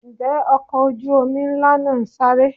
Ǹjẹ́ ọkọ̀ ojú omi ńlá náà ń sáré?